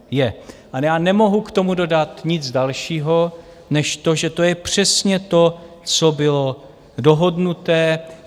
Ale já nemohu k tomu dodat nic dalšího než to, že to je přesně to, co bylo dohodnuté.